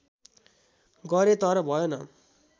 गरें तर भएन